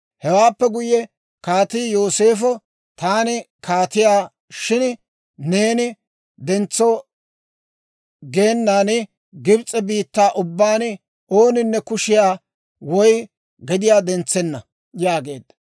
Hewaappe guyye kaatii Yooseefo, «Taani kaatiyaa; shin neeni dentso geenan Gibs'e biittaa ubbaan ooninne kushiyaa woy gediyaa dentsenna» yaageedda.